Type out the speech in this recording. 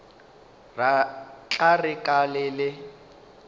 tla re ka le le